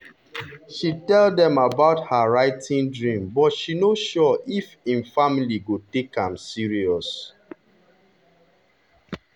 she tell them about her writing dream but she no sure if im family go take am serious.